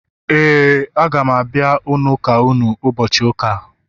,Éè, a ga m abia n’ụka unu ụbọchị ụka a